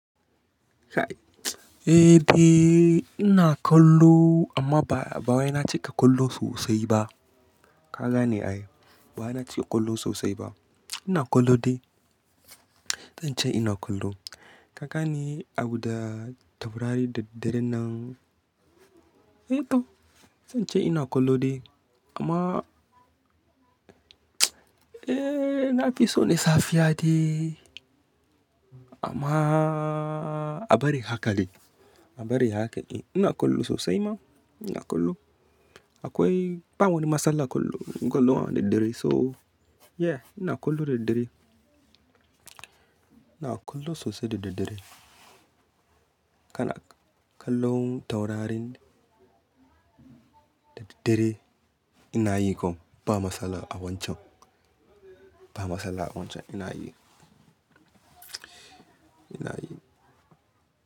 Eh, be ina kallo amma ba, ba wai na cika kallo sosai ba. Kagane ai, ba wai na cika kallo sosai ba. Ina kallo dai. Zan ce ina kallo. Kagani abu da taurari da dare nan. Eh to, zan ce ina kallo dai amma eh, na fi so na safiya dai. Amma a bari haka dai, a bari haka dai. Ina kallo sosai ma, ina kallo. Akwai, ba wani matsala kallo, kallon a dare so yeah ina kallo da dare. Ina kallo sosai daddare. Kana kallon taurarin da dare ina yi kuma ba matsala a wancan. Ba matsala a wancan ina yi. Ina yi.